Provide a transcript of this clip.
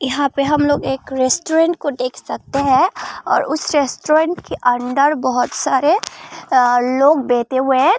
यहां पे हम लोग एक रेस्टोरेंट को देख सकते हैं और उस रेस्टोरेंट के अंदर बहुत सारे लोग बैठे हुए हैं।